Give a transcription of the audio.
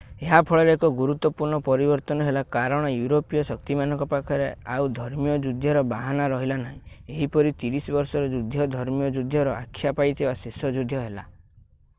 ଏହା ଫଳରେ ଏକ ଗୁରୁତ୍ୱପୂର୍ଣ୍ଣ ପରିବର୍ତ୍ତନ ହେଲା କାରଣ ୟୁରୋପୀୟ ଶକ୍ତିମାନଙ୍କ ପାଖରେ ଆଉ ଧର୍ମୀୟ ଯୁଦ୍ଧର ବାହାନା ରହିଲା ନାହିଁ ଏହିପରି ତିରିଶ ବର୍ଷର ଯୁଦ୍ଧ ଧର୍ମୀୟ ଯୁଦ୍ଧର ଆଖ୍ୟା ପାଇଥିବା ଶେଷ ଯୁଦ୍ଧ ହେଲା